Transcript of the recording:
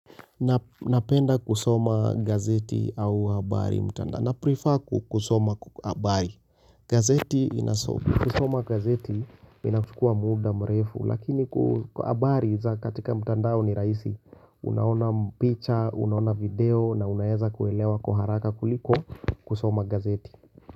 Napenda kusoma gazeti au abari mtanda Naprefer kusoma abari gazeti inasopu kusoma gazeti inakukua muda mrefu Lakini abari za katika mtandao ni raisi Unaona picture, unaona video na unaeza kuelewa kuharaka kuliko kusoma gazeti.